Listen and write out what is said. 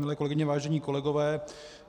Milé kolegyně, vážení kolegové,